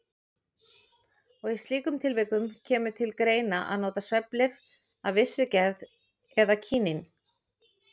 Í slíkum tilvikum kemur til greina að nota svefnlyf af vissri gerð eða kínín.